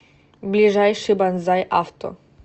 ближайший банзай авто